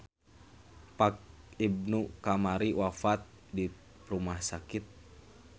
Pak Ibnu kamari wafat di rumah sakit